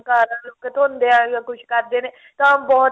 ਕਾਰਾਂ ਨੂੰ ਧੋਂਦੇ ਆ ਜਾਂ ਕੁੱਝ ਕਰਦੇ ਨੇ ਤਾਂ ਬਹੁਤ